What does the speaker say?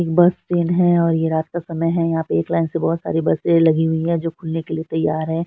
एक bus stand है और ये रात का समय है यहाँ पे एक लाइन से बहुत सारी बसे लगी हुई है जो खुलने के लिए तैयार है।